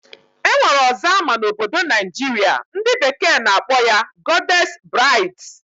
Enwere ọzọ ama na obodo Naijiria, ndi bekee na akpọ ya Goddess braids.